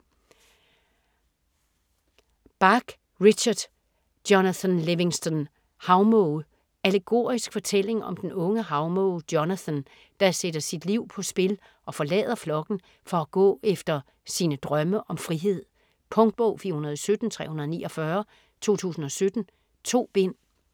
Bach, Richard: Jonathan Livingston havmåge Allegorisk fortælling om den unge havmåge Jonathan der sætter sit liv på spil og forlader flokken for at gå efter sine drømme om frihed. Punktbog 417349 2017. 2 bind.